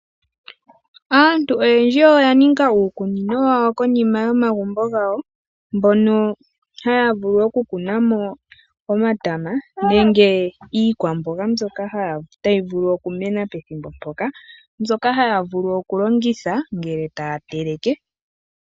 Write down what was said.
Aantu oyendji oya niga uukunino wawo konima yo magumbo gawo mbono haya vulu oku kuna mo omatama nenge iikwamboga mbyoka tayi vulu oku mena pethimbo mpoka mbyoka haya vulu oku longitha ngele taya teleke.